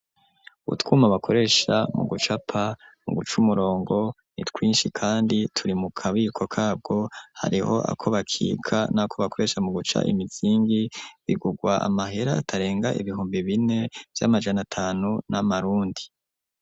Utwuma bakoresha mu gucapa mu guca umurongo ni twishi kandi turi mu kabiko kabwo hariho ako bakika nako bakoresha mu guca imizingi bigurwa amahera atarenga ibihumbi bine vy'amajana atanu y'amarundi.